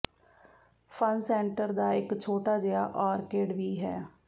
fun centre ਦਾ ਇਕ ਛੋਟਾ ਜਿਹਾ ਆਰਕੇਡ ਵੀ ਹੈ